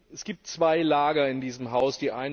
Es gibt zwei Lager in diesem Haus.